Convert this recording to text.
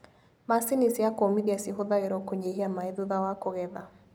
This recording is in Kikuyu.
Macini cia kũmithia cihũthagĩrwo kũnyihia maĩ thutha wa kũgetha.